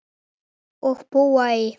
Og búa í